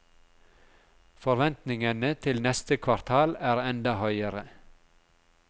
Forventningene til neste kvartal er enda høyere.